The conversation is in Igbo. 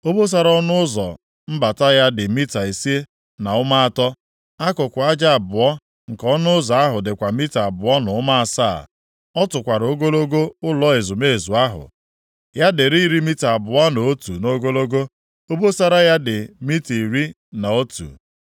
Obosara ọnụ ụzọ mbata ya dị mita ise na ụma atọ. Akụkụ aja abụọ nke ọnụ ụzọ ahụ dịkwa mita abụọ na ụma asaa. Ọ tụkwara ogologo ụlọ ezumezu ahụ; ya dịrị iri mita abụọ na otu nʼogologo, obosara ya dị mita iri na otu.